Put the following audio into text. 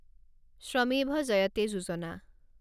Shramev Jayate Yojana